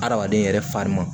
Adamaden yɛrɛ farima